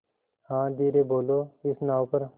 हाँ धीरे बोलो इस नाव पर